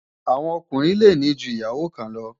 àwọn Ọkùnrin lè ní jù ìyàwó kàn lo